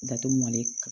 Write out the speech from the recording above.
Datugu male